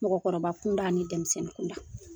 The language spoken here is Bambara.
Mɔgɔkɔrɔba kunda ni denmisɛnnin kunda